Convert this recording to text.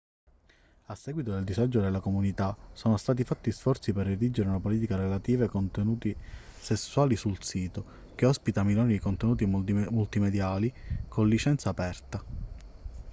a seguito del disagio della comunità sono stati fatti sforzi per redigere una politica relativa ai contenuti sessuali sul sito che ospita milioni di contenuti multimediali con licenza aperta